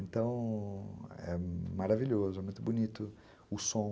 Então, é maravilhoso, é muito bonito o som.